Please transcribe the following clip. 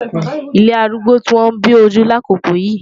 Ilé arúgbó ti wọ́n bí ojú lákòókò yìí.